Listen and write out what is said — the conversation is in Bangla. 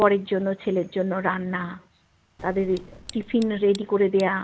বরের জন্য ছেলের জন্য রান্না তাদের tiffin ready করে দেওয়া